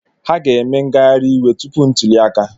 Ha ga-eme ngagharị iwe tupu ntuli aka.